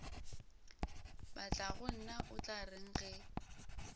batlagonna o tla reng ge